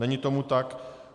Není tomu tak.